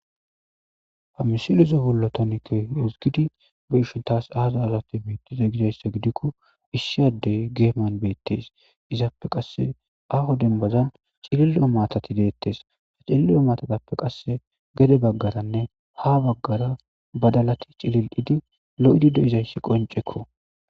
Ha misileza bolla tani keehi ezgidi be'ishin taas aaza aazate beetize gizayssa gidikko issi addey geeman beettes izappe qasse aaho dembazan cilil'o maatati deettees cilil'o maatatappe qasse gede baggaranne haa baggara badalati cilil'idi lo'idi de'izayssi qonccekko.